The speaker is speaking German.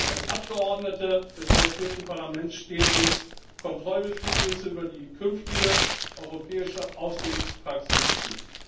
Als Abgeordnete des Europäischen Parlaments stehen uns Kontrollbefugnisse über die künftige europäische Aufsichtspraxis zu.